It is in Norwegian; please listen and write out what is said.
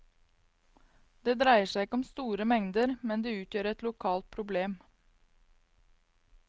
Det dreier seg ikke om store mengder, men det utgjør et lokalt problem.